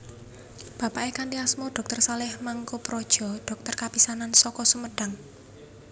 Bapaké kanthi asma dr Saleh Mangkoepradja dhokter kapisanan saka Sumedang